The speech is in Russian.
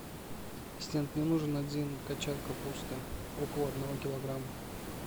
ассистент мне нужен один кочан капусты около одного килограмма